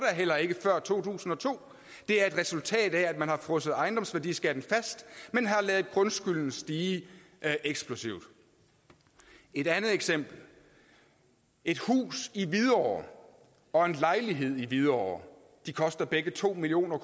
heller ikke før to tusind og to det er et resultat af at man har frosset ejendomsværdiskatten fast men har ladet grundskylden stige eksplosivt et andet eksempel et hus i hvidovre og en lejlighed i hvidovre koster begge to million